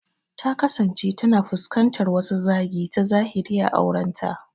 Ta kasance tana fuskantar wasu zagi ta zahiri a aurenta.